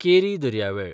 केरी दर्यावेळ